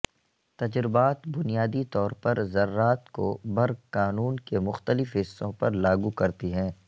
تجربات بنیادی طور پر ذرات کو برگ قانون کے مختلف حصوں پر لاگو کرتی ہیں